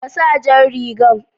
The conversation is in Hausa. Ka sa jan rigan